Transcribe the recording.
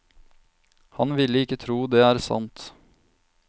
Han ville ikke tro det er sant.